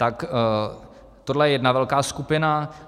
Tak tohle je jedna velká skupina.